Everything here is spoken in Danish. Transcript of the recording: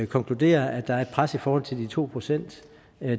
konkluderer at der er et pres i forhold til de to procent